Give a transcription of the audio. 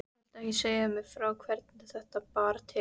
Viltu ekki segja mér frá hvernig þetta bar til?